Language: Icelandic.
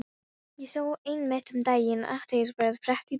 Ég sá einmitt um daginn athyglisverða frétt í dönsku blaði.